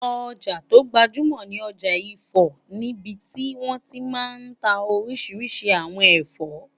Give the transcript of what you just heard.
Ọjà tó gbajúmọ̀ ni ọjà ifọ̀ níbití wọ́n ti máa n ta oríṣiríṣi àwọn ẹ̀fọ́